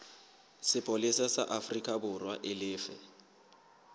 sepolesa sa aforikaborwa e lefe